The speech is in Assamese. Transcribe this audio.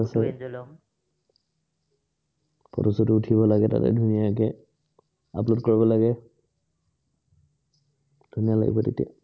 photo চটো উঠিব লাগে তাতে ধুনীয়াকে upload কৰিব লাগে। ধুনীয়া লাগিব তেতিয়া।